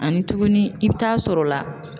Ani tuguni i bi taa sɔrɔ la